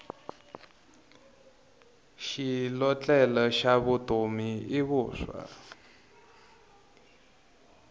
xilotlela xa vutomi i vuswa